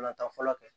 Ka na taa fɔlɔ kɛ